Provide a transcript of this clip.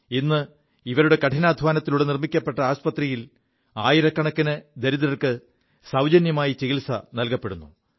ഇിവരുടെ കഠിനാധ്വാനത്തിലൂടെ നിർമ്മിക്കപ്പെ ആശുപത്രിയിൽ ആയിരക്കണക്കിന് ദരിദ്രർക്ക് സൌജന്യമായി ചികിത്സ നല്കപ്പെടുു